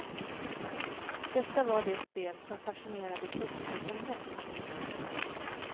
Detta var det spel som fascinerade testgruppen mest.